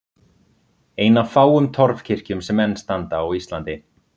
Ein af fáum torfkirkjum sem enn standa á Íslandi.